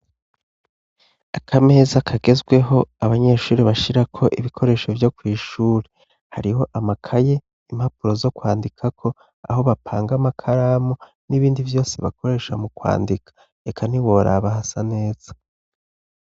Akameza kagezweho abanyeshure bashirako ibikoresho vyo kw'ishure hariho amakaye, impapuro zo kwandikako, aho bapanga amakaramu n'ibindi vyose bakoresha mu kwandika. Eka ntiworaba hasa neza.